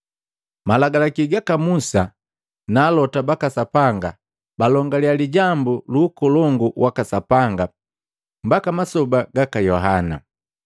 Malagalaki gaka Musa na alota baka Sapanga balongaliya lijambu luukolongu waka Sapanga mbaka masoba gaka Yohana.